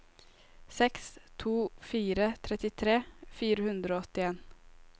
seks to fire to trettitre fire hundre og åttien